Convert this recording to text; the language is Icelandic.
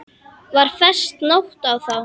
Var fest nót á þá.